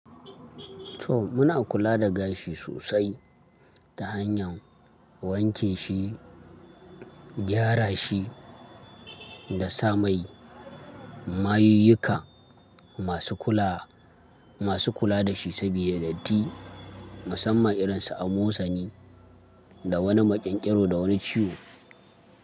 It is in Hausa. To muna kula da gashi sosai ta hanyar wanke shi, gyara shi da sa mai. Mayuyuka masu kula da shi sabida datti musamman irinsa a motsani da wani maƙyanƙyaro da wani ciwo.